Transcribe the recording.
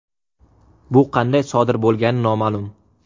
Bu qanday sodir bo‘lgani noma’lum.